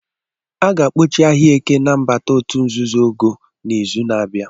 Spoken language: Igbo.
A ga-akpọchi ahịa Eke na nnabata òtù nzuzo ogo n'izu na-abịa.